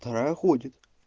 вторая ходит